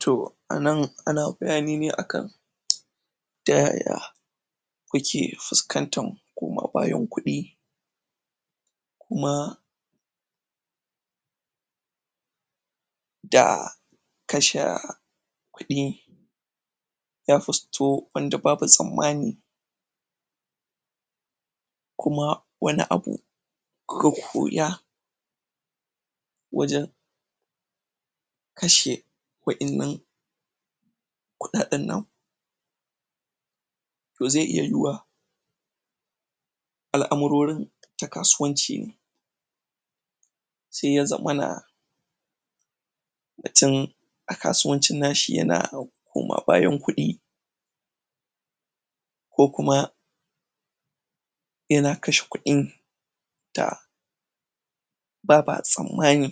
To anan ana bayani ne akan ta yaya ku ke fuskantar koma-bayan kuɗi kuma da kasha kuɗi wand babu tsammani, kuma wani abu ku ka koya wajen kashe um kuɗaɗen anku to zai iya yiwuwu al'amarorin ta kasuwanci ne sai ya zamana tin a kasuwancin nashi yana koma-bayan kuɗi ko kuma yana kashe kuɗin ta baba tsammani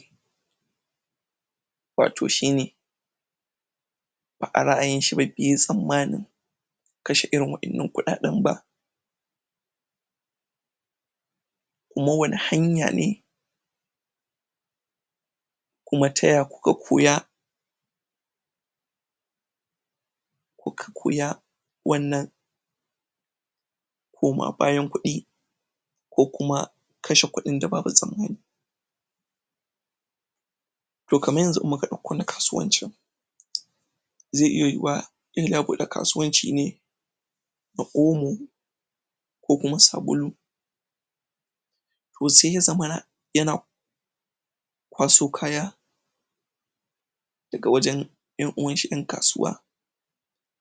wato shine a ra'ayin shi bai yi tsammanin kashe irin waɗannan kuɗaɗen ba kuma wani hanya ne kuma ta ya kuka koya, um wannan koma-bayan kuɗi ko kuma kashe kuɗin da babu tsammani. To kamar yanzu in muka ɗauko na kasuwancin, zai iya yiwuwa irin ya buɗe kasuwanci ne na omo ko kuma sabulu, ko sai ya zamana yana kwaso kaya daga wajen 'yan uwashi 'yan kasuwa.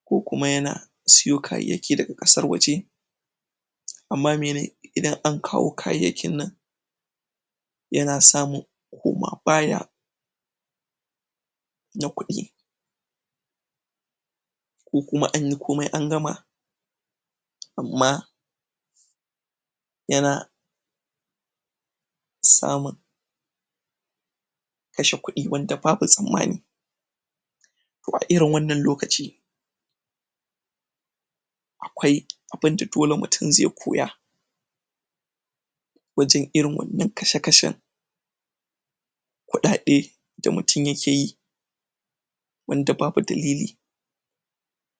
Ko kuma yana siyo kayayyaki daga ƙasar waje amma mene, idan an kawo kayayyakin nan yana samun koma-baya na kuɗi ko kuma anyi komai an gama amma yana samun kashe kuɗi wanda babu tsammani a irin wannan lokaci akwai abinda doke mutum zai koya wajen irin wannan kashe-kashen kuɗaɗe da mutum ya keyi wanda babu dalili.